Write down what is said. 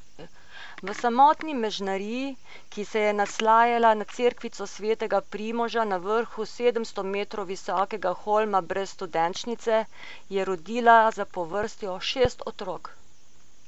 V samotni mežnariji, ki se je naslanjala na cerkvico svetega Primoža na vrhu sedemsto metrov visokega holma brez studenčnice, je rodila zapovrstjo šest otrok.